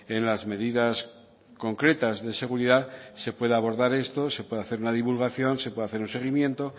en las medidas concretas de seguridad se pueda abordar esto se pueda hacer una divulgación se pueda hacer un seguimiento